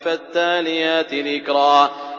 فَالتَّالِيَاتِ ذِكْرًا